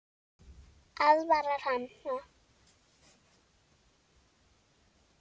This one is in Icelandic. Aðvarar hana.